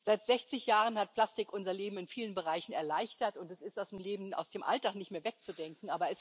Seit sechzig Jahren hat Plastik unser Leben in vielen Bereichen erleichtert, und es ist aus dem Leben, aus dem Alltag, nicht mehr wegzudenken.